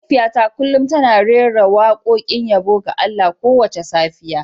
Mahaifiyata kullum tana rera wakokin yabo ga Allah kowace safiya.